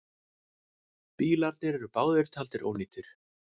Bílarnir eru báðir taldir ónýtir.